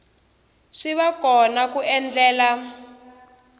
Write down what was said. swi va kona ku endlela